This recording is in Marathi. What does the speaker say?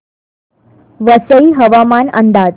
वसई हवामान अंदाज